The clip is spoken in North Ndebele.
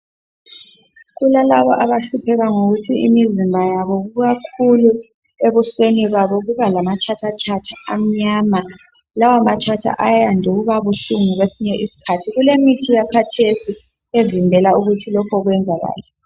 Kulalabo abahlupheka ngokuthi imizimba yabo ikakhulu ebusweni babo kuba lamatshathatshatha amnyama, lawo matshatha ayande ukuba buhlungu kwesinye isikhathi. Kulemithi yakhathesi evimbela ukuthi lokho kwenzakale